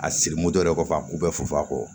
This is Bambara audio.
A siri moto yɛrɛ kɔfɛ k'u bɛɛ fu a kɔ